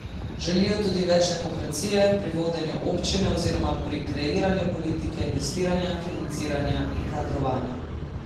Želijo tudi več demokracije pri vodenju občine oziroma pri kreiranju politike investiranja, financiranja in kadrovanja.